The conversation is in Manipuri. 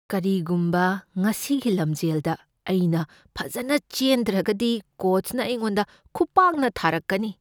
ꯀꯔꯤꯒꯨꯝꯕ ꯉꯁꯤꯒꯤ ꯂꯝꯖꯦꯜꯗ ꯑꯩꯅ ꯐꯖꯅ ꯆꯦꯟꯗ꯭ꯔꯒꯗꯤ ꯀꯣꯆꯅ ꯑꯩꯉꯣꯟꯗ ꯈꯨꯄꯥꯛꯅ ꯊꯥꯔꯛꯀꯅꯤ ꯫